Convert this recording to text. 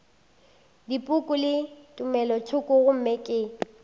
dipoko le tumelothoko gomme ke